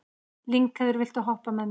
Lyngheiður, viltu hoppa með mér?